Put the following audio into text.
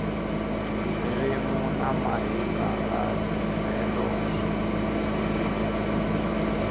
ririmi na mahikaha telo swi